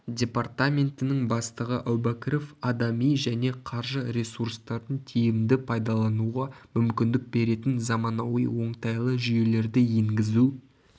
департаментінің бастығы әубәкіров адами және қаржы ресурстарын тиімді пайдалануға мүмкіндік беретін заманауи оңтайлы жүйелерді енгізу